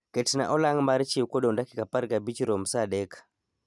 Ketnaa olang' mar chiew kodong dakika apar ga bich rom saa adek